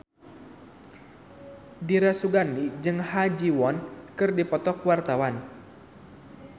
Dira Sugandi jeung Ha Ji Won keur dipoto ku wartawan